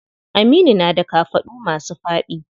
Aminu na da kafaɗu masu faɗi.